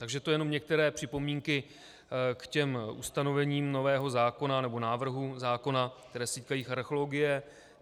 Takže to jenom některé připomínky k těm ustanovením nového zákona nebo návrhům zákona, které se týkají archeologie.